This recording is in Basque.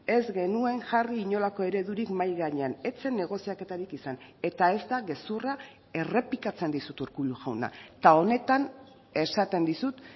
ez genuen jarri inolako eredurik mahai gainean ez zen negoziaketarik izan eta ez da gezurra errepikatzen dizut urkullu jauna eta honetan esaten dizut